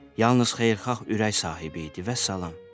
Yalnız xeyirxah ürək sahibi idi vəssalam.